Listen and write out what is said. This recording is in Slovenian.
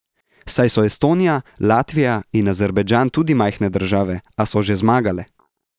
Saj so Estonija, Latvija in Azerbajdžan tudi majhne države, a so že zmagale!